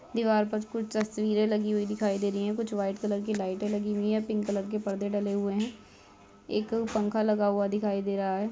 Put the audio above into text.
दीवार पर कुछ तस्वीर लगी हुुुई दिखाई दे रही है कुछ वाईट कलर की लाइटे लगी हुुई है पिंक कलर के पर्दे लगे हुए है एक पंखा लगा हुआ दिखाई दे रहा है।